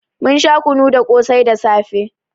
Mun sha kunu da ƙosai da safe.